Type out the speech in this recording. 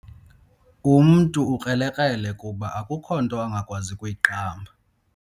Umntu ukrelekrele kuba akukho nto angakwazi ukuyiqamba.